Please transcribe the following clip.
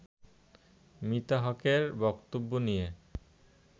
মিতা হকের বক্তব্য নিয়ে